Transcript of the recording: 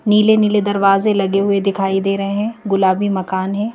नीले नीले दरवाजे लगे हुए दिखाई दे रहे हैं गुलाबी मकान है।